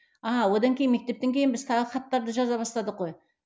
ааа одан кейін мектептен кейін біз тағы да хаттарды жаза бастадық қой